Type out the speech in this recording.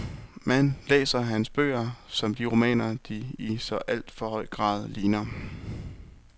Man læser hans bøger som de romaner, de i så alt for høj grad ligner.